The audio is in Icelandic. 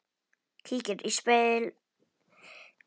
Kíkir í spegil á baðinu.